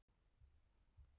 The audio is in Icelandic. Rokkið hafið eftir veðurofsa